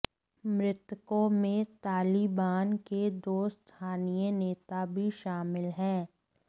मृतकों में तालिबान के दो स्थानीय नेता भी शामिल हैं